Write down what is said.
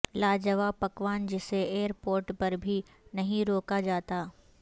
لاجواب پکوان جسے ائیر پورٹ پر بھی نہیں روکا جاتا